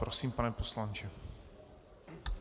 Prosím, pane poslanče.